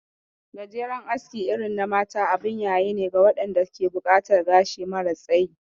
Gajeren aski irin na mata abun yayine ga waɗanda ke buƙatar gashi mara tsayi